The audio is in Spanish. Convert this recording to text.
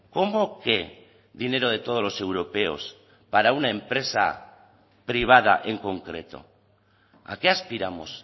cómo que dinero de todos los europeos para una empresa privada en concreto a qué aspiramos